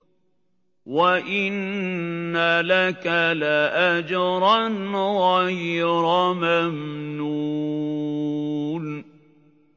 وَإِنَّ لَكَ لَأَجْرًا غَيْرَ مَمْنُونٍ